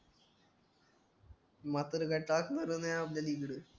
म्हातारा काय नाय आपल्याला इकडं